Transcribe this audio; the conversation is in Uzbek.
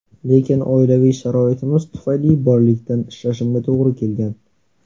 Lekin oilaviy sharoitimiz tufayli bolalikdan ishlashimga to‘g‘ri kelgan.